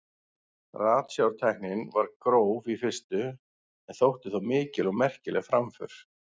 Ratsjártæknin var gróf í fyrstu en þótti þó mikil og merkileg framför.